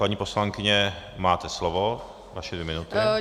Paní poslankyně, máte slovo, vaše dvě minuty.